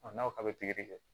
n'aw k'a bɛ pikiri kɛ